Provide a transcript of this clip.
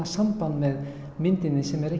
samband við myndina sem er